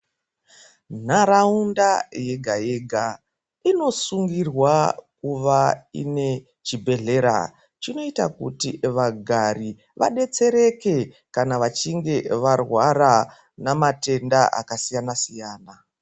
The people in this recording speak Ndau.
Nharaunda yega yega inosungurwa kuva ine chibhedhlera chinoita kuti vagari vadetsereke kana vachinge varwara namatenda akasiyana siyana.